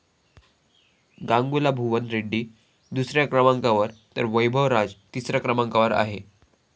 गांगुला भुवन रेड्डी दुसऱ्या क्रमांकावर तर वैभव राज तिसऱ्या क्रमांकावर आहे.